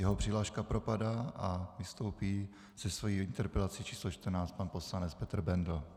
Jeho přihláška propadá a vystoupí se svojí interpelací číslo 14 pan poslanec Petr Bendl.